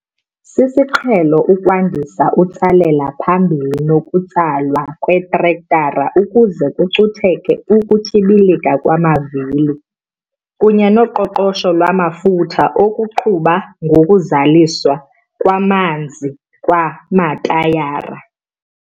Sisiqhelo ukwandisa utsalela phambili nokutsalwa kwetrektara ukuze kucutheke ukutyibilika kwamavili kunye noqoqosho lwamafutha okuqhuba ngokuzaliswa kwamanzi kwamatayara.